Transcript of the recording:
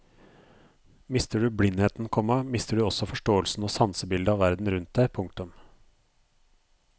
Mister du blindheten, komma mister du også forståelsen og sansebildet av verden rundt deg. punktum